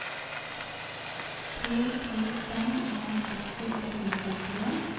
to to fem en seksti ett hundre og femtien